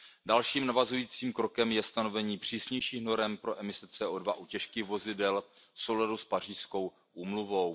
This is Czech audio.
Dalším navazujícím krokem je stanovení přísnějších norem pro emise CO2 u těžkých vozidel v souladu s Pařížskou úmluvou.